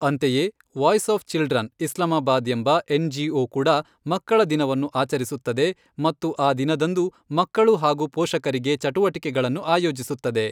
ಅಂತೆಯೇ, voice of children, Islamabad ಎಂಬ NGO. ಕೂಡ ಮಕ್ಕಳ ದಿನವನ್ನು ಆಚರಿಸುತ್ತದೆ ಮತ್ತು ಆ ದಿನದಂದು ಮಕ್ಕಳು ಹಾಗೂ ಪೋಷಕರಿಗೆ ಚಟುವಟಿಕೆಗಳನ್ನು ಆಯೋಜಿಸುತ್ತದೆ.